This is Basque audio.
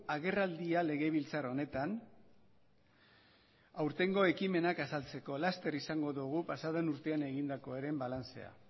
agerraldia legebiltzar honetan aurtengo ekimenak azaltzeko laster izango dogu pasaden urtean egindakoaren balantzea